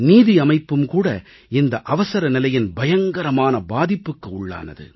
நீதியமைப்பும் கூட இந்த அவசரநிலையின் பயங்கரமான பாதிப்புக்கு உள்ளானது